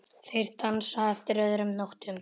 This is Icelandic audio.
Þeir dansa eftir öðrum nótum.